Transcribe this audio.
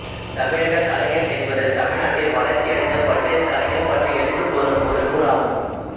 தமிழகக் கலைகள் என்பது தமிழ்நாட்டில் வளர்ச்சியடைந்த பல்வேறு கலைகள் பற்றி எடுத்துக்கூறும் ஒரு நூல் ஆகும்